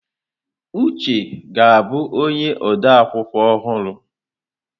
Uche ga-abụ onye ode akwụkwọ ọhụrụ.